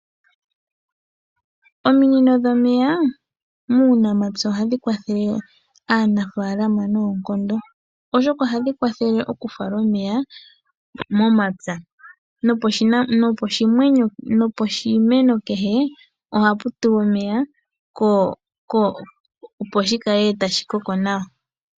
Ominino dhomeya muunamapya ohadhi kwathele aanafaalama noonkondo, oshoka ohadhi kwathele oku fala omeya momapya. Noposhimeno kehe ohapu tulwa omeya opo shikale tashi koko nawa.